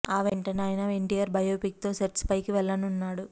ఆ వెంటనే ఆయన ఎన్టీఆర్ బయోపిక్ తో సెట్స్ పైకి వెళ్లనున్నాడు